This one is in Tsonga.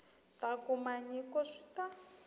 ta kuma nyiko swi ta